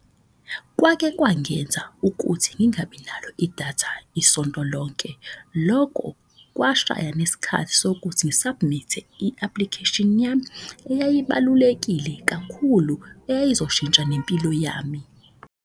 Kwake kwangenza ukuthi ngingabi nalo idatha isonto lonke, loko kwashaya sokuthi ngi-submit-e i-application yami. Eyayibalulekile kakhulu eyayizoshintsha nempilo yami.